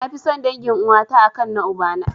Nafi son dangin uwata a kan na ubana.